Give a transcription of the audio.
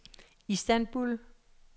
Istanbul